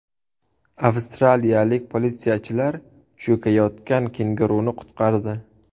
Avstraliyalik politsiyachilar cho‘kayotgan kenguruni qutqardi.